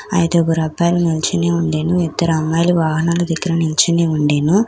ఐదుగురు అబ్బాయిలు నుంచొనే ఉండేను ఇద్దరు అమ్మాయిలు వాహనాలు దగ్గర నించుని ఉండెను.